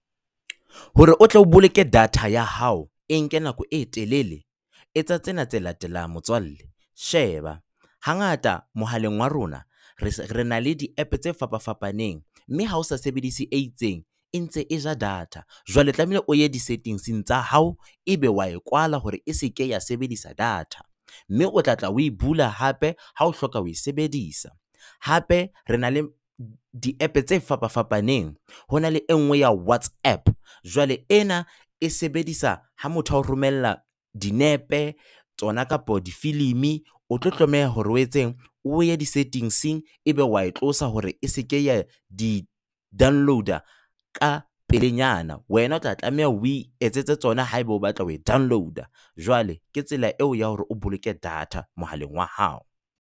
Hore o tle o boloke data ya hao e nke nako e telele, etsa tsena tse latelang motswalle. Sheba, hangata mohaleng wa rona re na le di-app tse fapa-fapaneng mme ha o sa sebedise e itseng, e ntse e ja data. Jwale o tlameha o ye di-settings-eng tsa hao, ebe wa e kwala hore eseke ya sebedisa data. Mme o tla tla oe bula hape ha o hloka ho sebedisa. Hape re na le di-app tse fapa-fapaneng. Ho na le engwe ya Whatsapp. Jwale, ena e sebedisa ha motho o romella dinepe, tsona kapo difilimi, o tlo tlameha hore o etseng? O ye di-settings ebe wa e tlosa hore se ke ya di-download-a ka pelenyana. Wena o tla tlameha o itsetse tsona haeba o batla ho e download-a. Jwale, ke tsela eo ya hore o boloke data mohaleng wa hao.